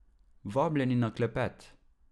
Vabljeni na klepet!